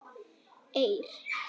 Eir